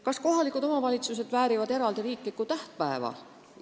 Kas kohalikud omavalitsused väärivad eraldi riiklikku tähtpäeva?